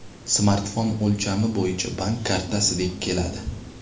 Smartfon o‘lchami bo‘yicha bank kartasidek keladi.